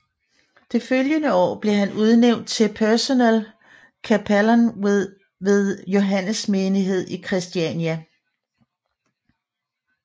Det følgende år blev han udnævnt til personel kapellan ved Johannes Menighed i Kristiania